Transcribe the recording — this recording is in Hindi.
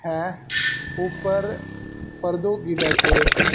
है ऊपर परदों की डेकोरेशन --